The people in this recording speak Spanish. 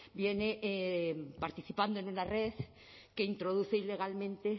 viene participando en una red que introduce ilegalmente